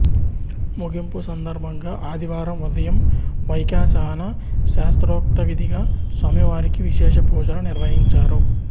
ముగింపు సందర్భంగా ఆదివారం ఉదయం వైఖాసన శాస్త్రోక్తవిధిగా స్వామివారికి విశేషపూజలు నిర్వహించారు